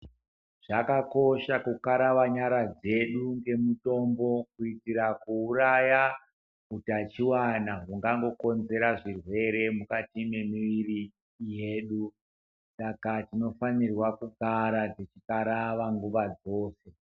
Zvakakosha kukarava nyara dzedu ngemutombo kuitira kuuraya utachiwana hungangokonzera zvirwere mukati memiiri yedu, saka tinofanirwa kugara tichikarava nguva dzose.